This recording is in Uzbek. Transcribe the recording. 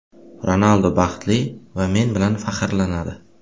Ronaldu baxtli va men bilan faxrlanadi.